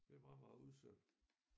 Det er meget meget udsat